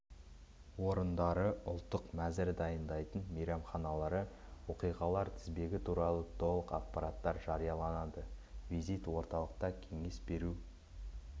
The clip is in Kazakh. орындары ұлттық мәзір дайындайтын мейрамханалары оқиғалалар тізбегі туралы толық ақпараттар жарияланады визит орталықта кеңес беру